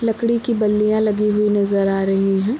लकड़ी की बल्लियाँ लगी हुई नजर आ रही हैं।